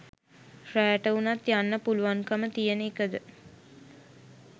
රෑට උනත් යන්න පුලුවන්කම තියෙන එකද?